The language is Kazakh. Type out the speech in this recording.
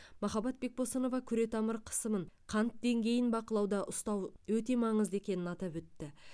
махаббат бекбосынова күретамыр қысымын қант деңгейін бақылауда ұстау өте маңызды екенін атап өтті